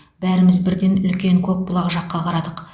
бәріміз бірден үлкен көкбұлақ жаққа қарадық